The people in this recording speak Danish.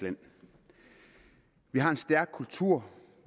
land vi har en stærk kultur